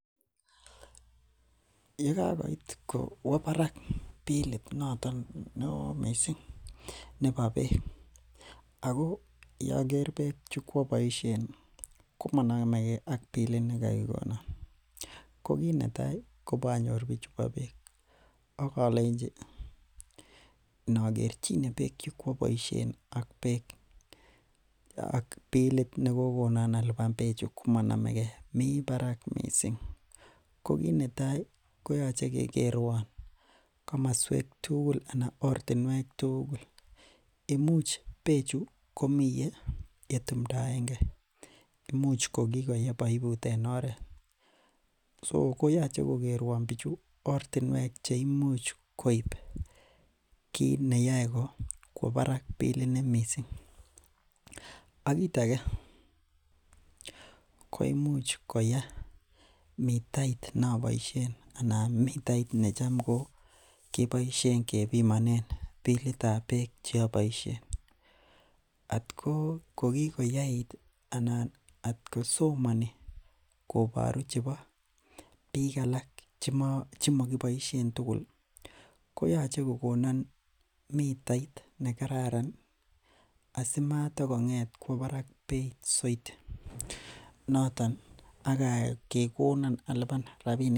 Ye kakoit kowo parak bilit noton neo missing nebo beek ako yoker beek chekwoboisien komonomeke ak bilit nekokikonon ko kit netai ko ibonyor bichu bo beek akibolenji inokerchine beek chekwo boisien ak bilit nekokonon alipan bechu komonomeke mi parak missing ko kit netai koyoche kekerwon komoswek tuugul anan oritinwek tugul imuch ko bechu komii yetumndoenge imuch kokikoye poiput en oret so koyoche kokerwon bichu ortinwek cheimuch koip kit neyoe kwao parakbillini missing ak kit ake ko imuch koya mitait ne aboisien anan mitait necham koo keboisien kebimonen bilitab beek cheaboisien atko kokikoyait anan atkosomoni koboru chebo biik alak chemokiboisien tugul koyoche kokonon mitait nekararan asimata kong'etkwok parak beit zaidi noton akekonan alipan rapinik.